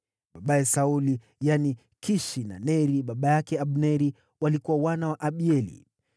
Babaye Sauli yaani, Kishi na Neri baba yake Abneri walikuwa wana wa Abieli.